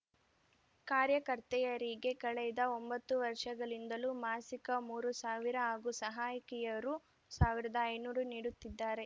ಕಾರ್ಯಕರ್ತೆಯರಿಗೆ ಕಳೆದ ಒಂಬತ್ತು ವರ್ಷಗಳಿಂದಲೂ ಮಾಸಿಕ ಮೂರು ಸಾವಿರ ಹಾಗೂ ಸಹಾಯಕಿಯರು ಸಾವಿರ್ದಾ ಐನೂರು ನೀಡುತ್ತಿದ್ದಾರೆ